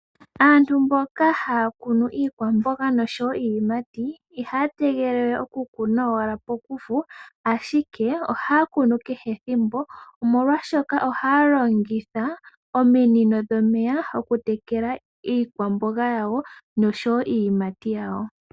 Aantu mboka haya kunu iikwamboga nosho wo iiyimati, ihaya tegelele okukuna owala pokufu, ashike ohaya kunu kehe ethimbo, molwashoka ohaya longitha ominino dhomeya okutekela iikwamboga yawo nosho wo iiyimati yawo.